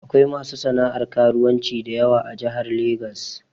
Akwai masu sana'ar karuwanci dayawa a Jahar Legas